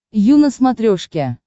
ю на смотрешке